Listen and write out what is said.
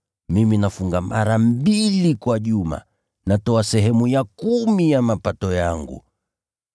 Mimi nafunga mara mbili kwa juma, na natoa sehemu ya kumi ya mapato yangu.’